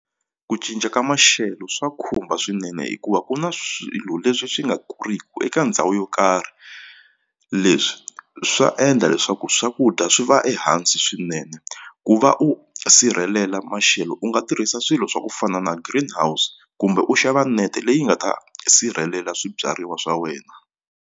Ku cinca ka maxelo swa khumba swinene hikuva ku na swilo leswi swi nga kuriku eka ndhawu yo karhi leswi swa endla leswaku swakudya swi va ehansi swinene ku va u sirhelela maxelo u nga tirhisa swilo swa ku fana na green house kumbe u xava nete leyi nga ta sirhelela swibyariwa swa wena.